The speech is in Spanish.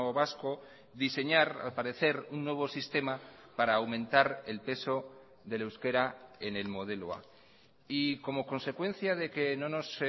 vasco diseñar al parecer un nuevo sistema para aumentar el peso del euskera en el modelo a y como consecuencia de que no nos